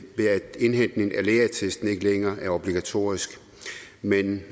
indhentning af lægeattesten ikke længere er obligatorisk men